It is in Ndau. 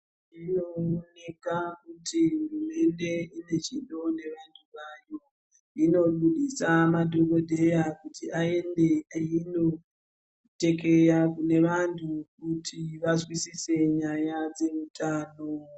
Zvinooneka kuti hurumende inechido nevantu vayo inoburitsa madhokodheya kuti ayende kunotekeya kune vantu kuti vazwisese nyaya dzezveutano.